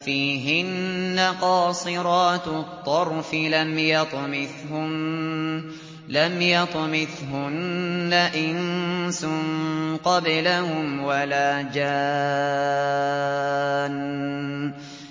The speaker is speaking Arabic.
فِيهِنَّ قَاصِرَاتُ الطَّرْفِ لَمْ يَطْمِثْهُنَّ إِنسٌ قَبْلَهُمْ وَلَا جَانٌّ